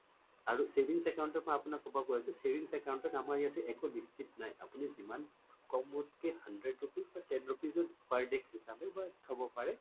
আৰু savings account ত মই আপোনাক কব গৈ আছোঁ savings account ত আমাৰ ইয়াতে একো নিশ্চিত নাই আপুনি যিমান কমত কে hundred rupees ten rupees ত per day হিচাবে থব পাৰে